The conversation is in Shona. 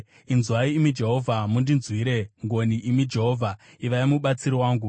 Inzwai, imi Jehovha, mundinzwire ngoni; imi Jehovha, ivai mubatsiri wangu.”